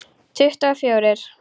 Tuttugu og fjórir.